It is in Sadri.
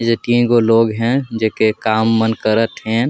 एजक तीन गो लोग हेन जे के काम मन करत हेन।